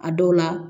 A dɔw la